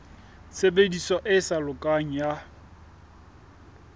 tshebediso e sa lokang ya